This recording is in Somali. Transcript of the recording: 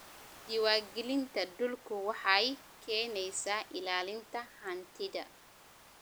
Diiwaangelinta dhulku waxay keenaysaa ilaalinta hantida.